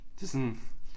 Det sådan